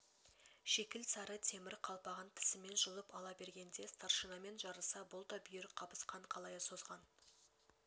шикілсары темір қалпағын тісімен жұлып ала бергенде старшинамен жарыса бұл да бүйір қабысқан қалайы созған